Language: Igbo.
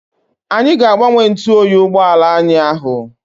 Anyị ga-agbanye ntụoyi ụgbọala anyị ahụ.